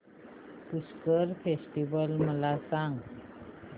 Pushkar festival मला सांग